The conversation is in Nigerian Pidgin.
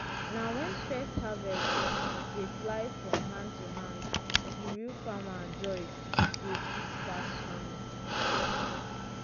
na when first harvest dey fly from hand to hand di real farmer joy dey sweet pass honey.